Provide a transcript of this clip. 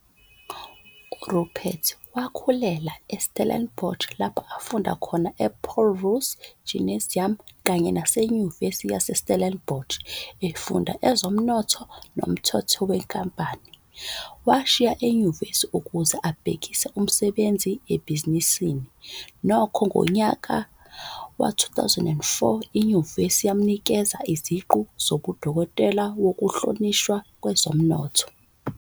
uRupert wakhulela I-Stellenbosch, lapho afunda khona ePaul Roos Gymnasium kanye nase Nyuvesi yase Stellenbos, efunda ezomnotho nomthetho wenkampani. Washiya enyuvesi ukuze abhekise umsebenzi ebhizinisini, nokho, ngonyaka wezi-2004, inyuvesi yamnikeza iziqu zobudokotela wokuhlonishwa kwezomnotho.